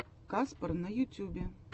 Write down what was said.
каспар на ютюбе